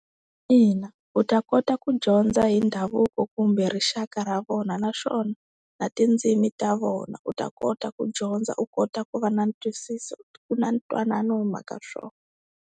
Ina, u ta kota ku dyondza hi ndhavuko kumbe rixaka ra vona naswona na tindzimi ta vona u ta kota ku dyondza u kota ku va na ntiyisiso na ntwanano hi mhaka swona.